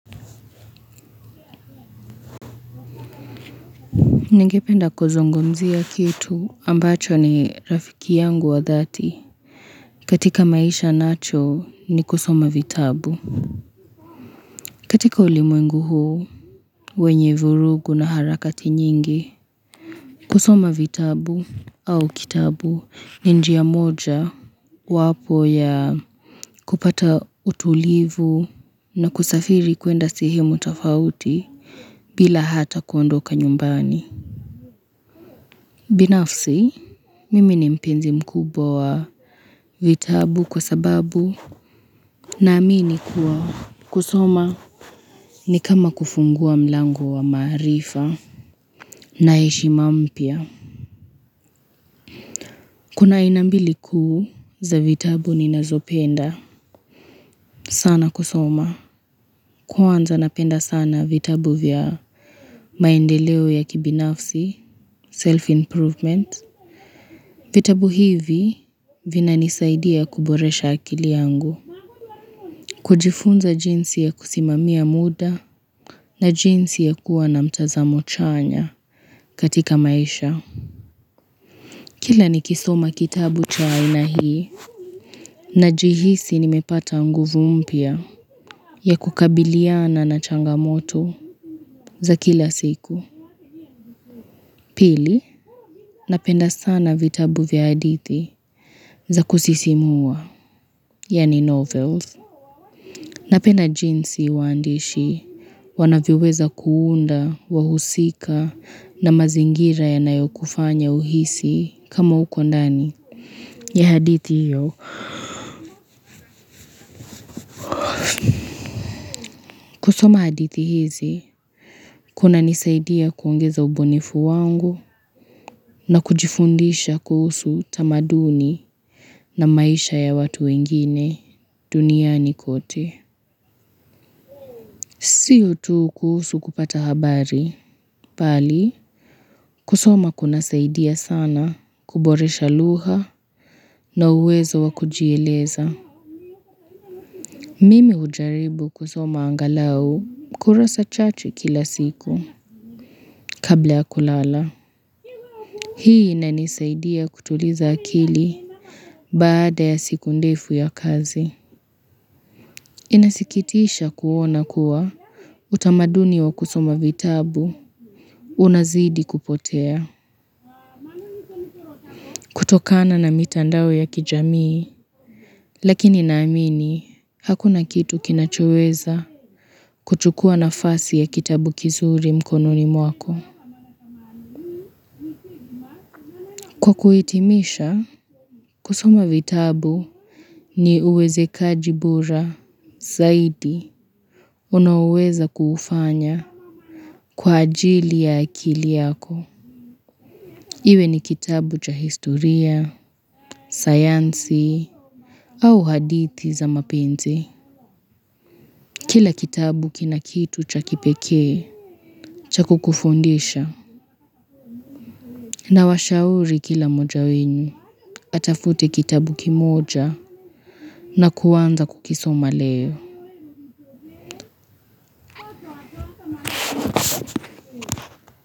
Ningependa kuzungumzia kitu ambacho ni rafiki yangu wa dhati katika maisha nacho ni kusoma vitabu. Katika ulimwengu huu wenye vurugu na harakati nyingi, kusoma vitabu au kitabu ni njia moja wapo ya kupata utulivu na kusafiri kwenda sehemu tofauti bila hata kuondoka nyumbani. Binafsi, mimi ni mpenzi mkubwa wa vitabu kwa sababu naamini kuwa kusoma ni kama kufungua mlango wa maarifa na heshima mpya. Kuna aina mbili kuu za vitabu ninazopenda sana kusoma. Kwanza napenda sana vitabu vya maendeleo ya kibinafsi, self-improvement. Vitabu hivi vinanisaidia kuboresha akili yangu kujifunza jinsi ya kusimamia muda na jinsi ya kuwa na mtazamo chanya katika maisha. Kila nikisoma kitabu cha aina hii najihisi nimepata nguvu mpya ya kukabiliana na changamoto za kila siku. Pili, napenda sana vitabu vya hadithi za kusisimua, yani novels. Napenda jinsi waandishi wanavyoweza kuunda wahusika na mazingira yanayokufanya uhisi kama uko ndani ya hadithi hiyo. Kusoma hadithi hizi kuna nisaidia kuongeza ubunifu wangu na kujifundisha kuhusu tamaduni na maisha ya watu wengine duniani kote. Si utu kuhusu kupata habari, bali kusoma kuna saidia sana kuboresha lugha na uwezo wa kujieleza. Mimi hujaribu kusoma angalau kurasa chache kila siku kabla ya kulala. Hii inanisaidia kutuliza akili baada ya siku ndefu ya kazi. Inasikitisha kuona kuwa utamaduni wa kusoma vitabu unazidi kupotea. Kutokana na mitandao ya kijamii, lakini naamini, hakuna kitu kinachoweza kuchukua nafasi ya kitabu kizuri mkononi mwako. Kukuhitimisha, kusoma vitabu ni uwezekaji bora, zaidi, unaoweza kuufanya kwa ajili ya akili yako. Iwe ni kitabu cha historia, sayansi, au hadithi za mapenzi. Kila kitabu kina kitu cha kipekee, cha kukufundisha. Nawashauri kila moja wenu, atafute kitabu kimoja na kuanza kukisoma leo.